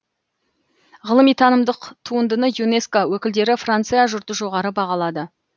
ғылыми танымдық туындыны юнеско өкілдері франция жұрты жоғары бағалады